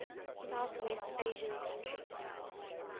southwest asian countries